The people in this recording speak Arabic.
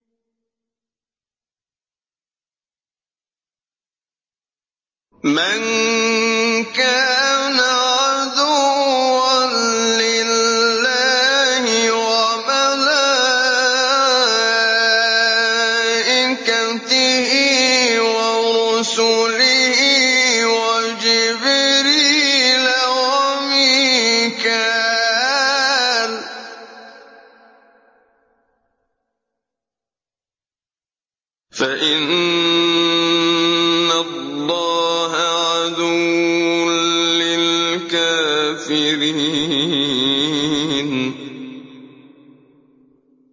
مَن كَانَ عَدُوًّا لِّلَّهِ وَمَلَائِكَتِهِ وَرُسُلِهِ وَجِبْرِيلَ وَمِيكَالَ فَإِنَّ اللَّهَ عَدُوٌّ لِّلْكَافِرِينَ